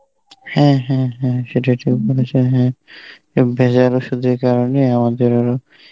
হ্যাঁ হ্যাঁ হ্যাঁ সেটা ঠিক বলেছ হ্যাঁ. এই ভেজাল ওষুধের কারণে আমাদের আরো